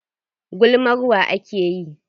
Gulmar wa ake yi?